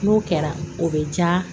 N'o kɛra o bɛ ja